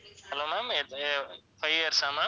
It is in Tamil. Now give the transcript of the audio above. hello ma'am, five years ah ma'am